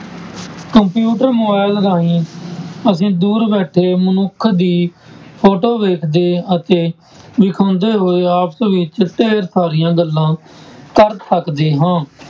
Computer, mobile ਰਾਹੀਂ ਅਸੀਂ ਦੂਰ ਬੈਠੇ ਮਨੁੱਖ ਦੀ photo ਵੇਖਦੇ ਅਤੇ ਵਿਖਾਉਂਦੇ ਹੋਏ ਆਪਸ ਵਿੱਚ ਢੇਰ ਸਾਰੀਆਂ ਗੱਲਾਂ ਕਰ ਸਕਦੇ ਹਾਂ।